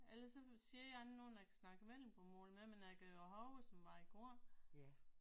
Ellers så siger jeg er der ikke nogen der kan snakke vendelbomål med mig når jeg går herover som var i går